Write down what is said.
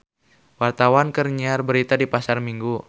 Wartawan keur nyiar berita di Pasar Minggu